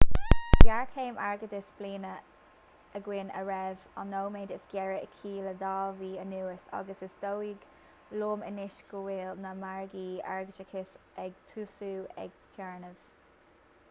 tá géarchéim airgeadais bliana againn a raibh an nóiméad is géire aici le dhá mhí anuas agus is dóigh liom anois go bhfuil na margaí airgeadais ag tosú ag téarnamh